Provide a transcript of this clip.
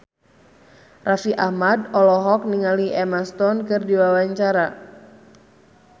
Raffi Ahmad olohok ningali Emma Stone keur diwawancara